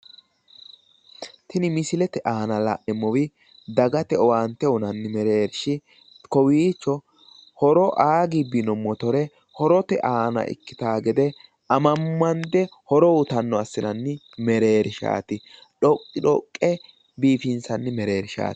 Tini misilete aana la'neemmori dagate owaante uyiinanni mereershi kowiicho horo aa gibbino motore horote aana ikkitanno gede amammande horo uyiitanno assitanni merershaaati dhoqqi dhoqqe biifinsanni mershaati.